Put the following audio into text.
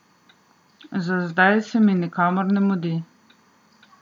Za zdaj se mi nikamor ne mudi.